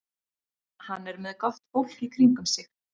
Hann er með gott fólk í kringum sig.